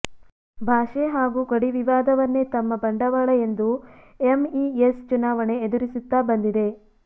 ಭಾಷೆ ಹಾಗೂ ಗಡಿವಿವಾದವನ್ನೆ ತಮ್ಮ ಬಂಡವಾಳ ಎಂದು ಎಂಇಎಸ್ ಚುನಾವಣೆ ಎದುರಿಸುತ್ತಾ ಬಂದಿದೆ